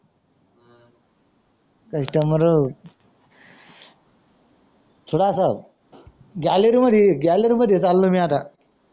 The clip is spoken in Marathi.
सुधाकर ग्यालरी मध्ये ये ग्यालरी मध्ये चलो मी आता